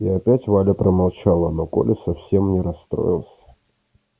и опять валя промолчала но коля совсем не расстроился